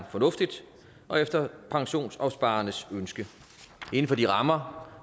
fornuftigt og efter pensionsopsparernes ønske inden for de rammer